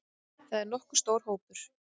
Þetta er nokkuð stór hópur.